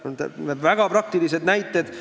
Siin on väga praktilisi näiteid.